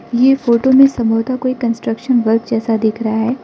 ये फोटो में संभवतः कोई कंस्ट्रक्शन वर्क जैसा दिख रहा है।